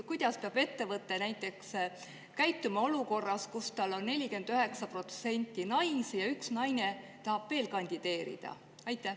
Kuidas peab ettevõte käituma näiteks olukorras, kus tal on naisi 49%, aga üks naine tahab veel kandideerida?